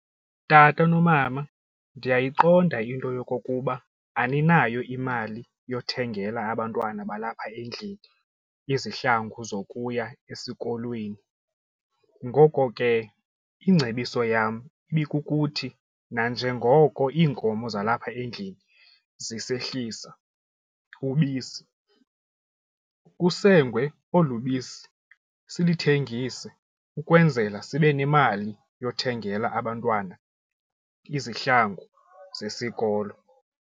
Tata nomama ndiyayiqonda into yokokuba aninayo imali yothengela abantwana balapha endlini izihlangu zokuya esikolweni. Ngoko ke ingcebiso yam ibikukuthi nanjengoko iinkomo zalapha endlini zisehlissa ubisi kusengwe olu bisi silithengise ukwenzela sibe nemali yothengela abantwana izihlangu zesikolo.